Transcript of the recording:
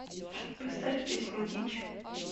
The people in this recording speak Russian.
поставь песню дичь